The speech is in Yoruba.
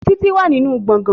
Títí wà ní nínú gbọ̀gán